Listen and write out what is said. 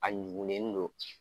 A ɲugulen don